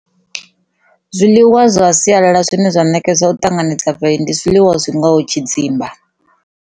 Zwiḽiwa zwa sialala zwine zwa nekedzwa u ṱanganedzana zwiliwa zwi ngaho tshidzimba